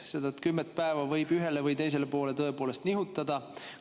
Seda kümmet päeva võib ühele või teisele poole nihutada.